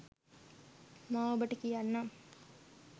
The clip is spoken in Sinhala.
මා ඔබට කියන්නම්